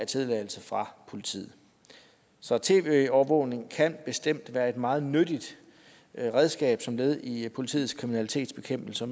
tilladelse fra politiet så tv overvågning kan bestemt være et meget nyttigt redskab som led i politiets kriminalitetsbekæmpelse